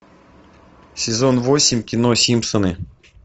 сезон восемь кино симпсоны